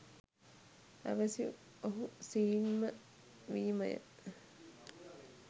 අවැසි ඔහු සීන් ම වීම ය.